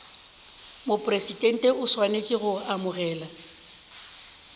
mopresidente o swanetše go amogela